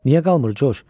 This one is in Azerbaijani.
Niyə qalmır Corc?